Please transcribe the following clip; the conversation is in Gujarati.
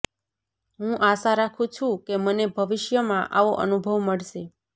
હું આશા રાખું છું કે મને ભવિષ્યમાં આવો અનુભવ મળશે